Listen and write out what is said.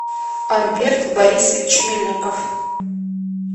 альберт барисович мельников